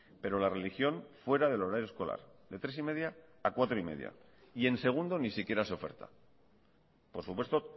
pero la religión fuera del horario escolar de tres y media a cuatro y media y en segundo ni siquiera se oferta por supuesto